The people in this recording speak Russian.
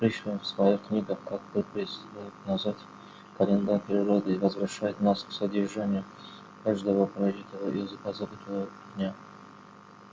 и пришвин в своих книгах как бы перелистывает назад календарь природы и возвращает нас к содержанию каждого прожитого и позабытого дня